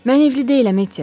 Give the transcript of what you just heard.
Mən evli deyiləm, Etti.